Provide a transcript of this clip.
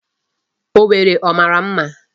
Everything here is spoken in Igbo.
Owerri ọ mara mma?